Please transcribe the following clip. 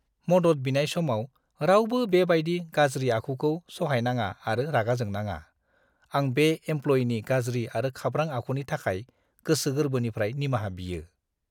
मदद बिनाय समाव रावबो बेबायदि गाज्रि आखुखौ सहायनाङा आरो रागा जोंनाङा। आं बे एमप्ल'इनि गाज्रि आरो खाब्रां आखुनि थाखाय गोसो गोरबोनिफ्राय निमाहा बियो!